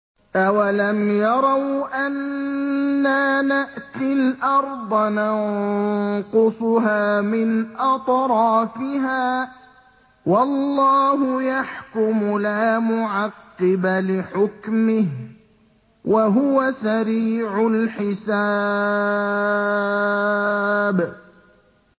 أَوَلَمْ يَرَوْا أَنَّا نَأْتِي الْأَرْضَ نَنقُصُهَا مِنْ أَطْرَافِهَا ۚ وَاللَّهُ يَحْكُمُ لَا مُعَقِّبَ لِحُكْمِهِ ۚ وَهُوَ سَرِيعُ الْحِسَابِ